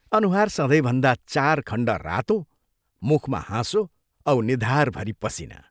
अनुहार सधैंभन्दा चार खण्ड रातो मुखमा हाँसो औ निधारभरि पसीना!